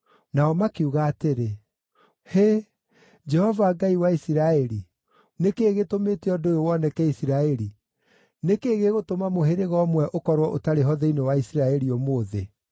Nao makiuga atĩrĩ, “Hĩ! Jehova Ngai wa Isiraeli, nĩ kĩĩ gĩtũmĩte ũndũ ũyũ woneke Isiraeli? Nĩ kĩĩ gĩgũtũma mũhĩrĩga ũmwe ũkorwo ũtarĩ ho thĩinĩ wa Isiraeli ũmũthĩ?”